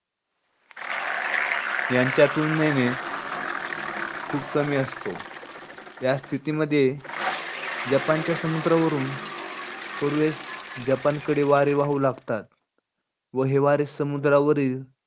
यांच्यातून नेणे खूप कमी असतो. त्या स्थितीमध्ये जपानच्या समुद्रावरून पूर्वेस जपानकडे वारे वाहू लागतात. व हे वारे समुद्रावरील,